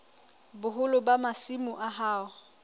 boholo ba masimo a hao